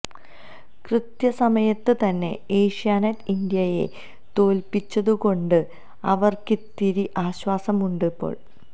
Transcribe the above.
കൃത്യ സമയത്ത് തന്നെ ഏഷ്യാനെറ്റ് ഇന്ത്യയെ തോല്പിച്ചതുകൊണ്ട് അവര്ക്കിത്തിരി ആശ്വാസമുണ്ട് ഇപ്പോള്